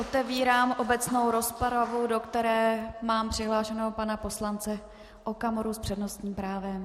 Otevírám obecnou rozpravu, do které mám přihlášeného pana poslance Okamuru s přednostním právem.